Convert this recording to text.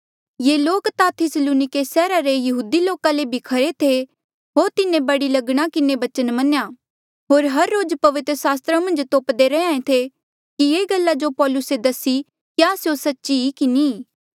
ये लोक ता थिस्सलुनिके सैहरा रे यहूदी लोका ले भी खरे थे होर तिन्हें बड़ी लगना किन्हें बचन मन्नेया होर हर रोज पवित्र सास्त्रा मन्झ तोप्दे रैहे कि ये गल्ला जो पौलुसे दसी क्या स्यों सच्ची ई कि नी